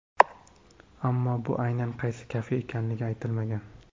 Ammo bu aynan qaysi kafe ekanligi aytilmagan.